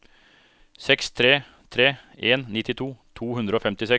seks tre tre en nittito to hundre og femtiseks